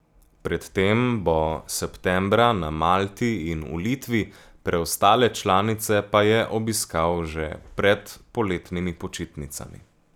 Pred tem bo septembra na Malti in v Litvi, preostale članice pa je obiskal že pred poletnimi počitnicami.